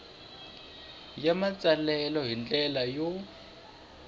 ya matsalelo hi ndlela yo